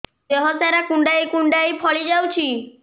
ଦେହ ସାରା କୁଣ୍ଡାଇ କୁଣ୍ଡାଇ ଫଳି ଯାଉଛି